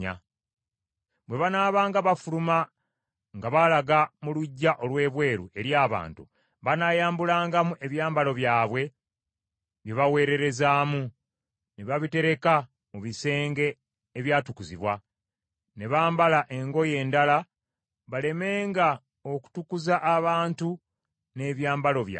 Bwe banaabanga bafuluma nga balaga mu luggya olw’ebweru eri abantu, banaayambulangamu ebyambalo byabwe bye baweererezaamu, ne babitereka mu bisenge ebyatukuzibwa, ne bambala engoye endala balemenga okutukuza abantu n’ebyambalo byabwe.